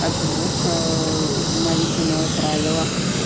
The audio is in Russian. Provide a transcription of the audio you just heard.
от звука молитвенного правила